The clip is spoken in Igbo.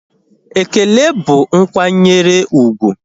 Ekele bụ nkwanyere úgwù